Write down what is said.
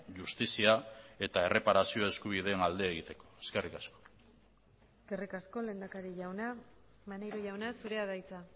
justizia eta erreparazio eskubideen alde egiteko eskerrik asko eskerrik asko lehendakari jauna maneiro jauna zurea da hitza